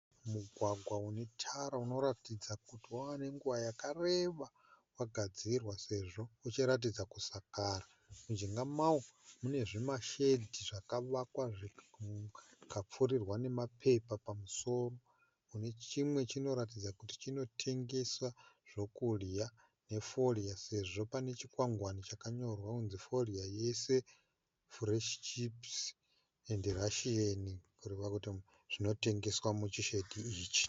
Mugwagwa unetara unotaridza kuti wave nenguva yakareba wagadzirwa sezvo uchiratidza kushakara. Mujinga mawo mune zvimashedhi zvakavakwa zvikapfurirwa nemapepa pamusoro. Kune chimwe chinotaridza kuti chinotengeswa zvokudya nefodya sezvo pane chikwangwani chayorwa kuti fodya yese pano, fureshi chipisi nerasheni kureva kuti zvinotengeswa muchishedhi ichi.